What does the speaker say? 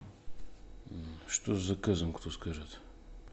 что с заказом кто скажет